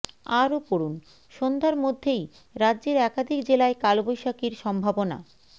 আরও পড়ুন সন্ধ্যার মধ্যেই রাজ্যের একাধিক জেলায় কালবৈশাখীর সম্ভাবনা